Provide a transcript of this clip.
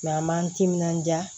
an m'an timinanja